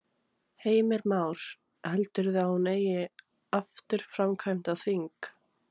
Heimir Már: Heldurðu að hún eigi afturkvæmt á þing?